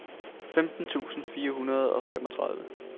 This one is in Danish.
femten tusind fire hundrede og femogtredive